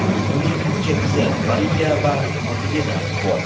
Uning ikki qizi (Mariya va Katerina) bor.